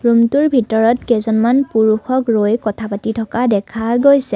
ৰুমটোৰ ভিতৰত কেইজনমান পুৰুষক ৰৈ কথা পাতি থকা দেখা গৈছে।